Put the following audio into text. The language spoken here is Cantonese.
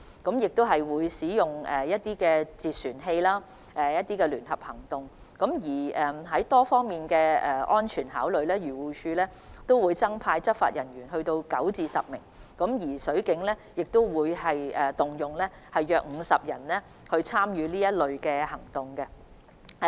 水警會使用截船器及組織相關聯合行動，從多方面作出安全考慮後，漁護署會增派9至10名執法人員，而水警亦會動員約50人參與相關行動。